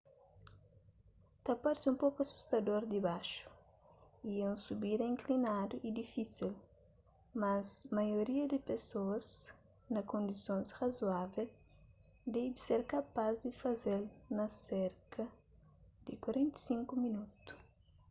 ta parse un poku asustador dibaxu y é un subida inklinadu y difísil mas maioria di pesoas na kondisons razoável debe ser kapaz di faze-l na serka di 45 minotu